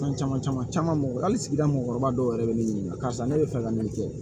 Fɛn caman caman mɔgɔ hali sigida mɔgɔkɔrɔba dɔw yɛrɛ bɛ ne ɲininka karisa ne bɛ fɛ ka nin kɛ